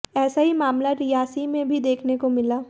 ऐसा ही मामला रियासी में भी देखने को मिला